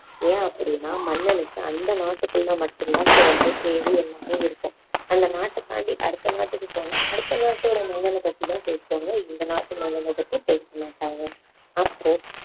ஏன் அப்படின்னா மன்னனுக்கு அந்த நாட்டுக்குள்ள மட்டும் தான் சிறப்பு பேரு எல்லாமே இருக்கும் அந்த நாட்டு தாண்டி அடுத்த நாட்டுக்கு போனா அடுத்த நாட்டோட மன்னனை பத்தி தான் பேசுவாங்க இந்த நாட்டு மன்னனை பத்தி பேச மாட்டாங்க அப்புறம்